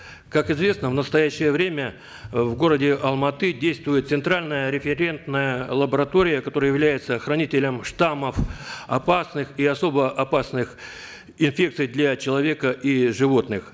как известно в настоящее время в городе алматы действует центральная референтная лаборатория которая является хранителем штаммов опасных и особо опасных инфекций для человека и животных